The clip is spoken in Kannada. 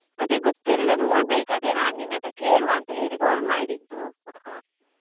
ಅದೇ ಗೊತ್ತಿಲ್ಲ ನೋಡ್ಬೇಕು ಅದೇ ನಾನ್ ನಿನ್ನತ್ರ ಕೇಳುವ ಅಂತ ಹೇಳಿ call ಮಾಡಿದ್ದು.